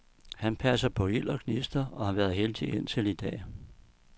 Han passer på ild og gnister og har været heldig indtil i dag.